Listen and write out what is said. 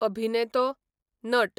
अभिनेतो, नट